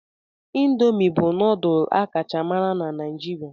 Indomi bụ nudul a kacha mara na Naijiria.